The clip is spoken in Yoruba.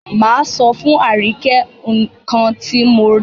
Máa sọ fún Àríkẹ́ nǹkan ti mo rí.